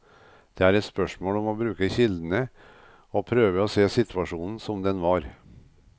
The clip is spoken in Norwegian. Det er et spørsmål om å bruke kildene, og prøve å se situasjonen som den var.